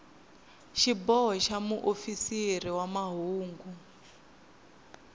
xiboho xa muofisiri wa mahungu